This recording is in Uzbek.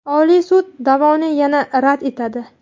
Oliy sud da’voni yana rad etadi.